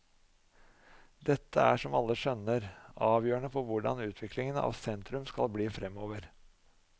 Dette er, som alle skjønner, avgjørende for hvordan utviklingen av sentrum skal bli fremover.